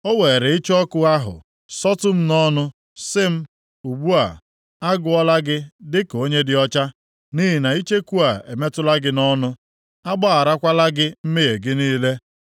O weere icheku ọkụ ahụ sọtụ m nʼọnụ, sị m, “Ugbu a, a gụọla gị dịka onye dị ọcha, nʼihi na icheku a emetụla gị nʼọnụ. A gbagharakwala gị mmehie gị niile.”